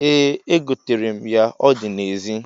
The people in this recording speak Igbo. Ee, egoterem ya, o di na-ezi